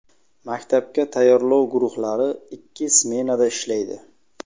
Maktabga tayyorlov guruhlari ikki smenada ishlaydi.